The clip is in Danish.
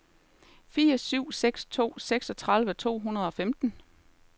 fire syv seks to seksogtredive to hundrede og femten